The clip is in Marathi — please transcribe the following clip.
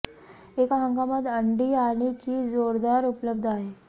एका हंगामात अंडी आणि चीज जोरदार उपलब्ध आहे